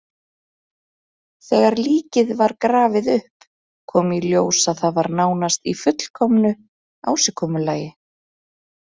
Þegar líkið var grafið upp kom í ljós að það var í nánast fullkomnu ásigkomulagi.